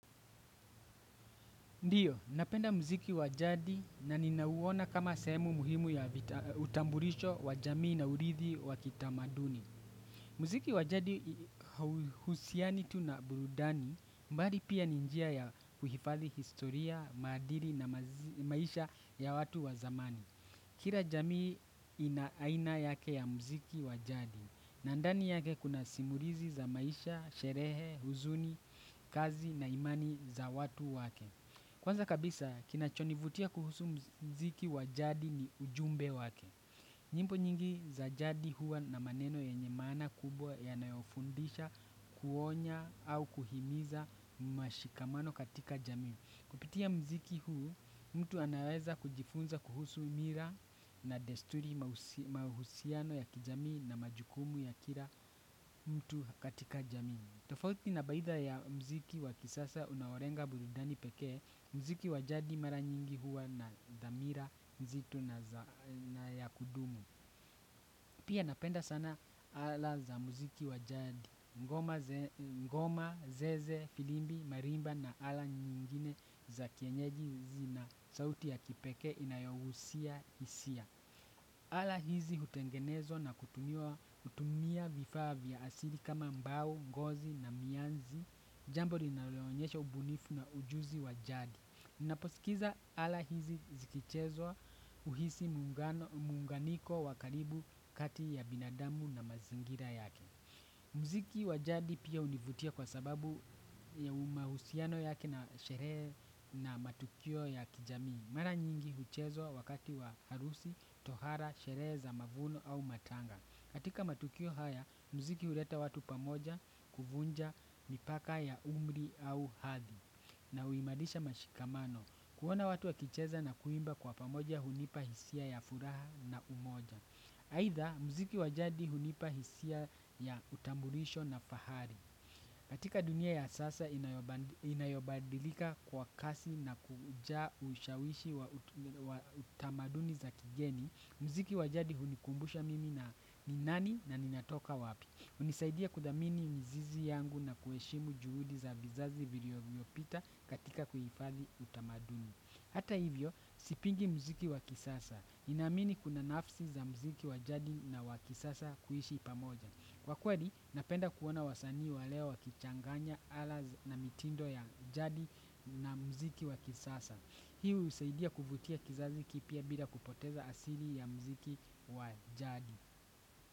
Ndiyo, ninapenda mziki wa jadi na ninauona kama sehemu muhimu ya utambulisho wa jamii na urithi wa kitamaduni. Mziki wa jadi hauhusiani tu na burudani bali pia ni njia ya kuhifadhi historia, maadili na maisha ya watu wa zamani. Kila jamii ina aina yake ya mziki wa jadi na ndani yake kuna simulizi za maisha, sherehe, huzuni, kazi na imani za watu wake. Kwanza kabisa, kinachonivutia kuhusu mziki wa jadi ni ujumbe wake. Nyimbo nyingi za jadi huwa na maneno yenye maana kubwa yanayofundisha kuonya au kuhimiza mashikamano katika jami. Kupitia mziki huu, mtu anaweza kujifunza kuhusu mila na desturi mahusiano ya kijamii na majukumu ya kila mtu katika jamii. Tofauti na baadhi ya mziki wa kisasa unaolenga burudani pekee, mziki wa jadi mara nyingi huwa na dhamira nzito na yakudumu. Pia napenda sana ala za mziki wa jadi, ngoma, zeze, filimbi, marimba na ala nyingine za kienyeji zina sauti ya kipekee inayogusia hisia. Ala hizi hutengenezwa na kutumia vifaa vya asili kama mbao, ngozi na mianzi, jambo linaloonyesha ubunifu na ujuzi wa jadi. Naposikiliza ala hizi zikichezwa huhisi muunganiko wa karibu kati ya binadamu na mazingira yake. Mziki wa jadi pia hunivutia kwa sababu ya mahusiano yake na sherehe na matukio ya kijamii. Mara nyingi huchezwa wakati wa harusi, tohara, sherehe za mavuno au matanga. Katika matukio haya, mziki huleta watu pamoja kuvunja mipaka ya umri au hadhi. Na huimariisha mashikamano. Kuoana watu wakicheza na kuimba kwa pamoja hunipa hisia ya furaha na umoja. Aidha, mziki wa jadi hunipa hisia ya utambulisho na fahari. Katika dunia ya sasa inayobadilika kwa kasi na kuja ushawishi wa tamaduni za kigeni, mziki waj jadi hunikumbusha mimi ni nani na ninatoka wapi. Hunisaidia kuthamini mizizi yangu na kuheshimu juhudi za vizazi vilivyopita katika kuhifathi utamaduni. Hata hivyo, sipingi mziki wa kisasa, ninaamini kuna nafsi za mziki wa jadi na wa kisasa kuishi pamoja. Kwa kweli, napenda kuona wasanii wa leo wakichanganya ala na mitindo ya jadi na mziki wa kisasa. Hii husaidia kuvutia kizazi kipya bila kupoteza asili ya mziki wa jadi.